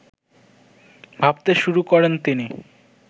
ভাবতে শুরু করেন তিনি